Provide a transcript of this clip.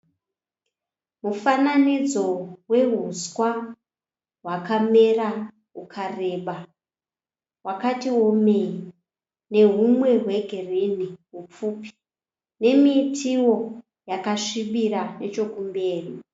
Mufananidzo wehuswa hwakamera hukareba. Hwakati womei nehumwe hwegirinhi hupfupi nemitiwo yakasvibira nechokumberi.